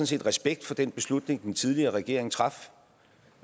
set respekt for den beslutning den tidligere regering traf